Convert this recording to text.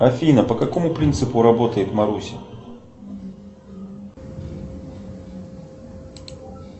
афина по какому принципу работает маруся